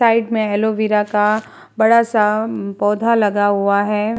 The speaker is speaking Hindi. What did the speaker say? साइड में ऐलोविरा का बड़ा सा पौधा लगा हुआ है।